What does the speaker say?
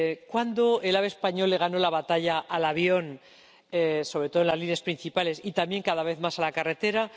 ¿Cuándo ganó el AVE español la batalla al avión, sobre todo en las líneas principales, y también cada vez más a la carretera?